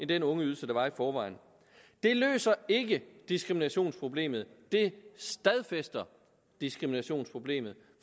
den ungeydelse der var i forvejen det løser ikke diskriminationsproblemet det stadfæster diskriminationsproblemet